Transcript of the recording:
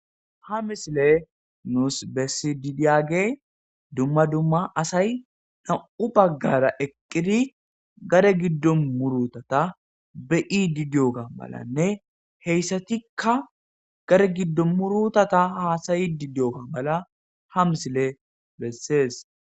ha misile nuus bessi didiyage dumma dumma asay nam7u baggara eqqiri gare giddo murutata be7i didiyoka malanne heyssatikka gare giddo murutata haasayi di diyooka mala ha misile bessees